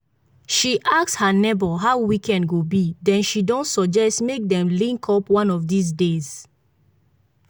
she ask her neighbor how weekend go be then she don suggest make dem link up one of these days.